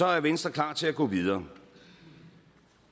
er venstre klar til at gå videre